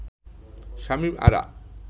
Shamim Ara